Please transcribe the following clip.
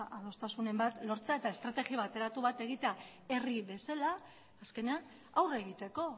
adostasunen bat lortzea eta estrategi bateratu bat egitea herri bezala azkenean aurre egiteko